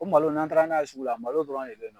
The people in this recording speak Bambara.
O malo , n'an taala n'a ye sugu la, malo dɔrɔnw yen nɔ.